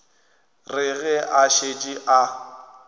re ge a šetše a